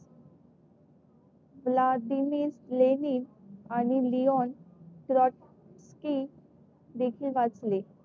Lenin आणि लिओन